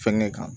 Fɛnkɛ kan